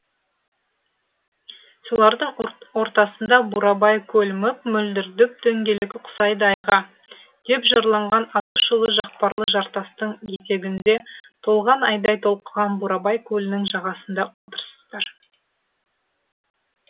солардың ортасында бурабай көл мөп мөлдір дөп дөңгелек ұқсайды айға деп жырланған атышулы жақпарлы жартастың етегінде толған айдай толқыған бурабай көлінің жағасында отырсыздар